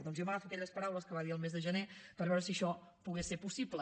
doncs jo m’agafo a aquelles paraules que va dir el mes de gener per veure si això pogués ser possible